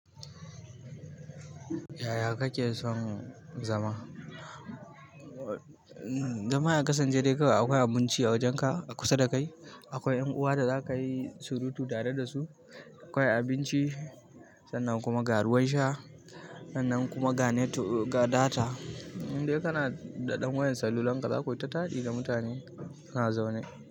Yaya kake son zama? Zama a ƙasan ce dai kawai akwai abunci a wajenka, a kusa dakai. Akwai ƴan'uwa da zaka yi surutu tare dasu. Akwai abinci sannan kuma ga ruwan sha. Sannan kuma ga net ga data. Indai kana da ɗan wayar salulan ka zakuyi ta taɗi da mutane kana zaune.